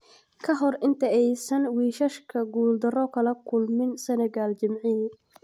Ka hor inta aysan wiishashka guuldaro kala kulmin Senegal jimcihii.